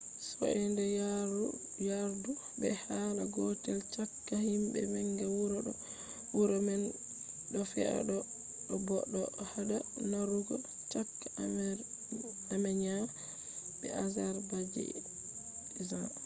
soinde yardu be hala gotel chaka him manga wuro do wuro man do fea bo do hada narrugo chaka armenia be azerbaijan